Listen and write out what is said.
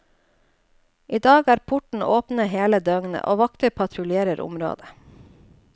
I dag er portene åpne hele døgnet, og vakter patruljerer området.